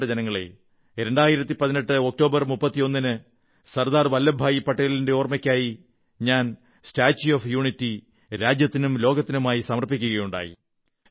പ്രിയപ്പെട്ട ജനങ്ങളേ 2018 ഒക്ടോബർ 31 ന് സർദാർ പട്ടേലിന്റെ ഓർമ്മയ്ക്കായി ഞാൻ സ്റ്റാച്യൂ ഓഫ് യുണിറ്റി രാജ്യത്തിനും ലോകത്തിനുമായി സമർപ്പിക്കയുണ്ടായി